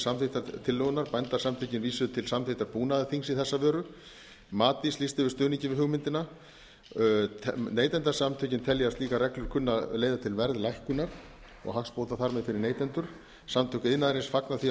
samþykktar tillögunnar bændasamtökin vísuðu til samþykktar búnaðarþings í þessa veru matís lýsti yfir stuðningi við hugmyndina neytendasamtökin telja slíkar reglur kunni að leiða til verðlækkunar og hagsbóta þar með fyrir neytendur samtök iðnaðarins fagna því að